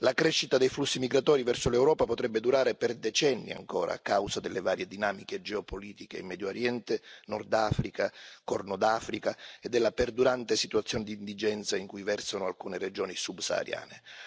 La crescita dei flussi migratori verso l'Europa potrebbe durare ancora per decenni a causa delle varie dinamiche geopolitiche in Medio Oriente, Nord Africa, Corno d'Africa e della perdurante situazione di indigenza in cui versano alcune regioni subsahariane.